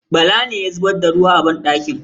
Bala ne ya zubar da ruwa a banɗakin.